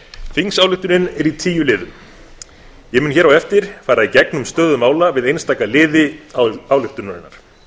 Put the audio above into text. er í tíu liðum ég mun hér á eftir fara í gegnum stöðu mála við einstaka liði ályktunarinnar